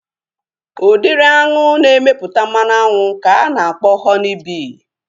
Udịri aṅụ na-emepụta mmanụ aṅụ ka ana akpọ Họni bii